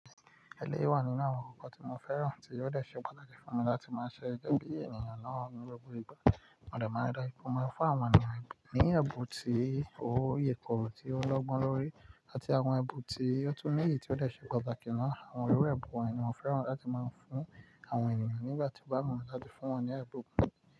Ẹlẹ́yi wà nínú àwọn ǹkan tí mo fẹ́ràn tí yóò de ṣe pàtàkì fún mi láti máa ṣe ẹgbẹ́ bí ènìyàn náà ní gbogbo ìgbà. Máa de ma pomọ fún àwọn ènìyàn ní ẹ̀bùn tí ó yèkòro, tí ó lọ́gbọ́n lórí àti àwọn ẹ̀bùn tí ó túń níyì tí ó lè ṣe pàtàkì náà. Àwọn iru ẹ̀bùn wonyi ni mo feran lati ma fun awon eniyan nígbà tí wọ́n bá mọ̀ láti fún wọn ní ẹ̀bùn.